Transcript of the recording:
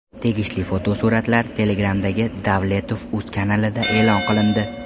Tegishli fotosuratlar Telegram’dagi DavletovUz kanalida e’lon qilindi .